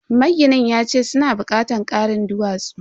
Maginin yace suna bukatar karin duwatsu.